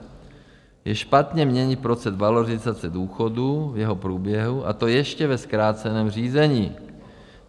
Je špatně měnit proces valorizace důchodů v jeho průběhu, a to ještě ve zkráceném řízení.